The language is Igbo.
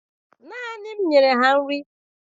Naanị m nyere ha nri